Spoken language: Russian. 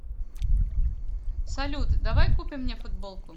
салют давай купим мне футболку